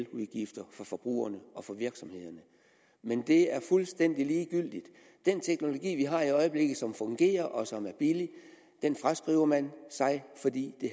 udgifter for forbrugerne og for virksomhederne men det er fuldstændig ligegyldigt den teknologi vi har i øjeblikket som fungerer og som er billig fraskriver man sig fordi det